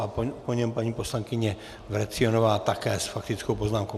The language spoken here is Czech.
A po něm paní poslankyně Vrecionová také s faktickou poznámkou.